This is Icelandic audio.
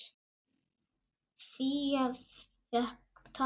Fía fékk tak.